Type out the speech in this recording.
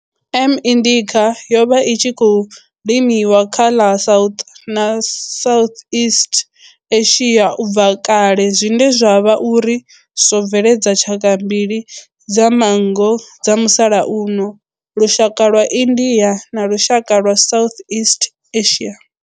M. indica yo vha i tshi khou limiwa kha ḽa South na Southeast Asia ubva kale zwine zwa vha uri zwo bveledza tshaka mbili dza manngo dza musalauno lushaka lwa India na lushaka lwa Southeast Asia.